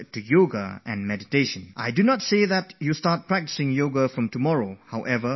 Friends, if I ask you to start doing Yoga from tomorrow morning then that would be unfair